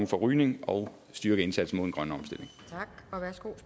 rygning og styrke indsatsen